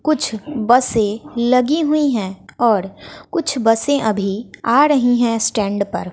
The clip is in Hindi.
कुछ बसें लगी हुई हैं और कुछ बसें आ रही है अभी स्टैंड पर--